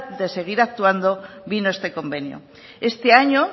de seguir actuando vino este convenio este año